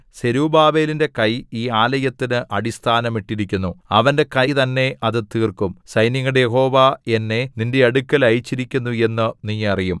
സെരുബ്ബാബേലിന്റെ കൈ ഈ ആലയത്തിന് അടിസ്ഥാനം ഇട്ടിരിക്കുന്നു അവന്റെ കൈ തന്നെ അത് തീർക്കും സൈന്യങ്ങളുടെ യഹോവ എന്നെ നിന്റെ അടുക്കൽ അയച്ചിരിക്കുന്നു എന്നു നീ അറിയും